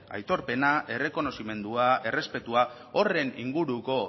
aitorpena errekonozimendua errespetua horren inguruko